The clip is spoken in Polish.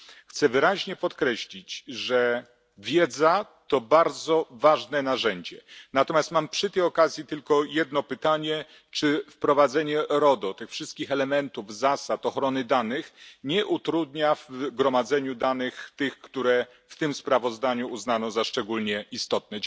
Chcę wyraźnie podkreślić, że wiedza to bardzo ważne narzędzie, natomiast mam przy tej okazji tylko jedno pytanie czy wprowadzenie RODO, tych wszystkich elementów, zasad, ochrony danych, nie utrudnia w gromadzeniu danych, tych, które w tym sprawozdaniu uznano za szczególnie istotne?